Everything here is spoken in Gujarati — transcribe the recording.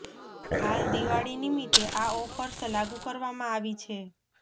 હાલ દિવાળી નિમિત્તે આ ઓફર્સ લાગુ કરવામાં આવી છે